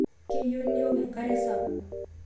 Keyieu niok enkare sapuk